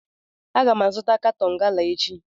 Aga m azụta katọn gala echi